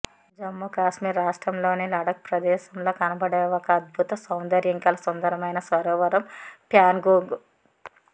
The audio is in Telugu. జమ్మూ కాశ్మీర్ రాష్ట్రంలోని లడక్ ప్రదేశంలో కనపడే ఒక అద్భుత సౌందర్యం కల సుందరమైన సరోవరం ప్యాన్గోంగ్